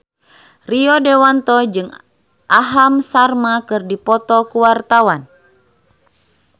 Rio Dewanto jeung Aham Sharma keur dipoto ku wartawan